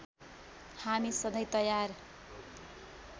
हामी सधैँ तयार